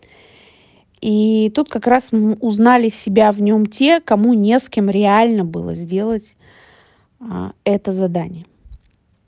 и тут как раз узнали себя в нём те кому не с кем реально было сделать а это задание